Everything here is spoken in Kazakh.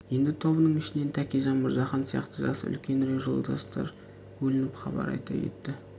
енді тобының ішінен тәкежан мырзахан сияқты жасы үлкенірек жолдастар бөлініп хабар айта кетті